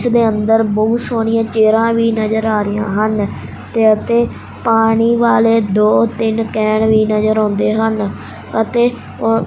ਦੇ ਅੰਦਰ ਬਹੁਤ ਸੋਹਣੀਆਂ ਚੇਅਰਾਂ ਵੀ ਨਜ਼ਰ ਆ ਰਹੀਆਂ ਹਨ ਤੇ ਅਤੇ ਪਾਨੀ ਵਾਲੇ ਦੋ ਤਿੰਨ ਕੇਨ ਵੀ ਨਜ਼ਰ ਆਉਂਦੇ ਹਨ ਅਤੇ--